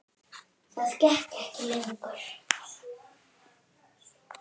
Þetta gekk ekki lengur.